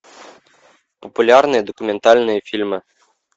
популярные документальные фильмы